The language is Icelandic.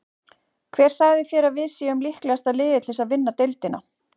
Hver sagði þér að við séum líklegasta liðið til að vinna deildina?